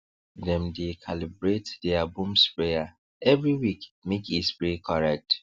dem dey calibrate deir boom sprayer every week make e spray correct